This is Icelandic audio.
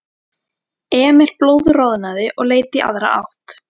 Emil blóðroðnaði og leit í aðra átt.